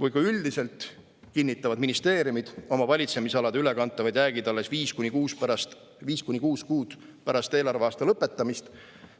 Või kui üldiselt kinnitavad ministeeriumid oma valitsemisalade ülekantavad jäägid alles viis kuni kuus kuud pärast eelarveaasta lõppemist,